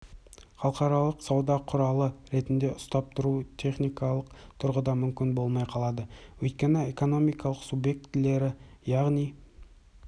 халықаралық сауда құралы ретінде ұстап тұру техникалық тұғыда мүмкін болмай қалады өйткені экономиканың субьектілері яғни